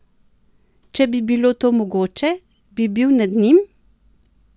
Če bi bilo to mogoče, bi bil nad njim!